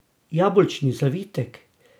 Jabolčni zavitek!